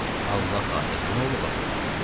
Allah xatirinə, nə olub axı?